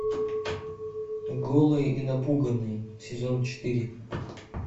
голые и напуганные сезон четыре